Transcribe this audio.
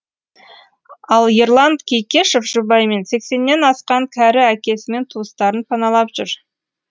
ал ерлан кейкешев жұбайымен сексеннен асқан кәрі әкесімен туыстарын паналап жүр